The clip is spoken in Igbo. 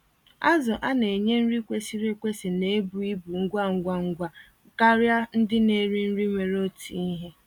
Azụ a-nenye nri kwesịrị ekwesị na-ebu ibu ngwa ngwa ngwa karịa ndị na-eri nri nwere otu ihe.